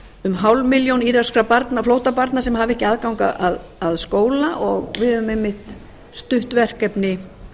um hálf milljón íraka flóttabarna sem hafa ekki aðgang að skóla og við höfum einmitt stutt verkefni